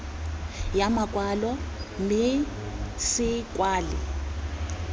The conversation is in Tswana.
ya makwalo mme se kwalwe